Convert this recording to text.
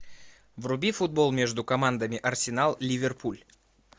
вруби футбол между командами арсенал ливерпуль